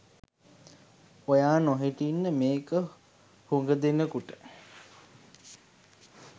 ඔයා නොහිටින්ඩ මේක හුග දෙනෙකුට